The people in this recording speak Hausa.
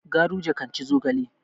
Garuje kan ci zogale.